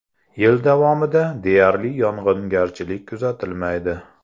Yil davomida deyarli yog‘ingarchilik kuzatilmaydi.